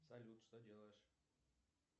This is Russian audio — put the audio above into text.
салют что делаешь